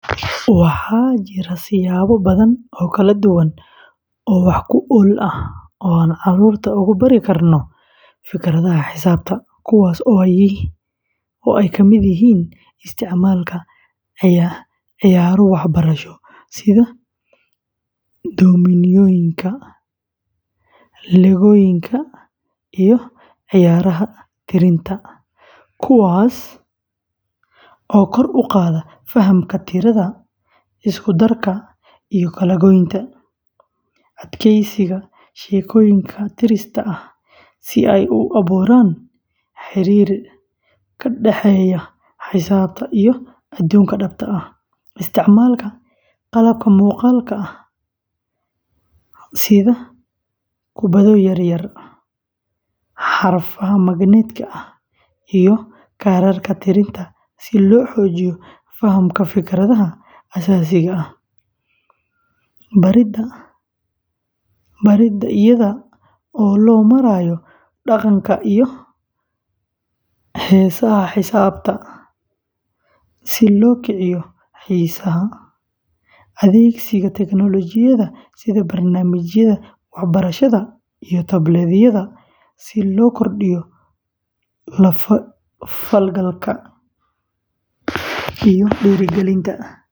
Waxaa jira siyaabo badan oo kala duwan oo wax ku ool ah oo aan carruurta ugu bari karno fikradaha xisaabta, kuwaas oo ay ka mid yihiin isticmaalka ciyaaro waxbarasho sida dominooyinka, legooyinka iyo ciyaaraha tirinta, kuwaas oo kor u qaada fahamka tirada, isku darka, iyo kala-goynta; adeegsiga sheekooyin tirsi ah si ay u abuuraan xiriir ka dhexeeya xisaabta iyo adduunka dhabta ah; isticmaalka qalabka muuqaalka ah sida kubbado yar yar, xarfaha magnet-ka ah, iyo kaararka tirinta si loo xoojiyo fahamka fikradaha aasaasiga ah; baridda iyada oo loo marayo dhaqanka iyo heesaha xisaabta si loo kiciyo xiisaha; adeegsiga teknoolojiyadda sida barnaamijyada waxbarashada iyo tablet-yada si loo kordhiyo la falgalka; iyo dhiirrigelinta.